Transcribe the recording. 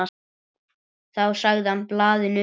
Þá sagði hann blaðinu upp.